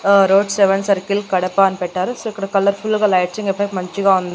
ఆ road seven circle Kadapa అని పెట్టారు సో ఇక్కడ కలర్ ఫుల్ గా లైట్సింగ్ ఎఫెక్ట్ మంచిగా ఉంది.